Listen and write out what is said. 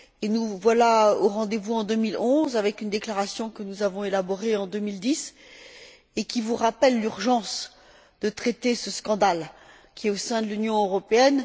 Nous voilà aujourd'hui au rendez vous en 2011, avec une déclaration que nous avons élaborée en 2010 et qui vous rappelle l'urgence de traiter ce scandale au sein de l'Union européenne.